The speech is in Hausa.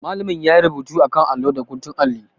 Malamin ya yi rubutu a kan allo da guntun alli.